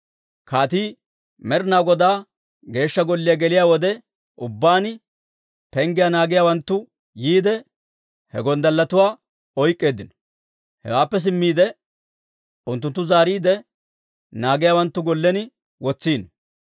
Kaatii Med'inaa Godaa Geeshsha Golliyaa geliyaa wode ubbaan, penggiyaa naagiyaawanttu yiide, he gonddalletuwaa oyk'k'eeddino. Hewaappe simmiide, unttunttu zaariide, naagiyaawanttu gollen wotsino.